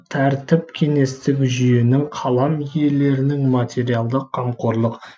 тәртіп кеңестік жүйенің қалам иелерінің материалдық қамқорлық